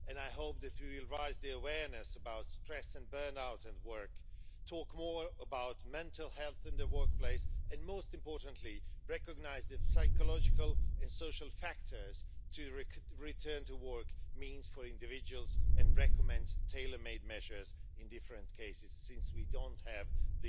I hope that we will raise awareness about stress and burnout at work, talk more about mental health in the workplace and, most importantly, recognise the psychological and social factors that a return to work entails for individuals, and recommend tailormade measures in different cases, since we don't have one